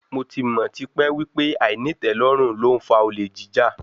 Mo ti mọ̀ tipẹ́ wípé àìnítẹ̀lórùn ló ń fa olè jíjà.